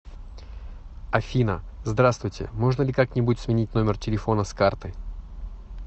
афина здравствуйте можно ли как нибудь сменить номер телефона с карты